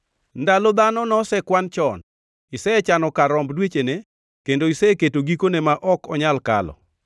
Ndalo dhano nosekwan chon; isechano kar romb dwechene, kendo iseketo gikone ma ok onyal kalo.